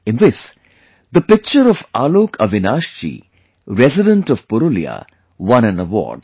In this, the picture by AlokAvinash ji, resident of Purulia, won an award